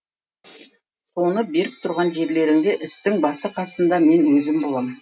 соны беріп тұрған жерлеріңде істің басы қасында мен өзім болам